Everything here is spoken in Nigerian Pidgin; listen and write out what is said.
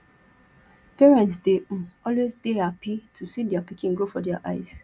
parents dey um always dey happy to see their pikin grow for their eyes